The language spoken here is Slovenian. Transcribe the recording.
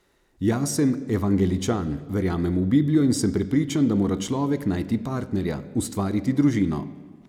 Jaz sem evangeličan, verjamem v Biblijo in sem prepričan, da mora človek najti partnerja, ustvariti družino.